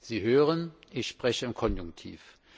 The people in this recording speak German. Sie hören, ich spreche im Konjunktiv.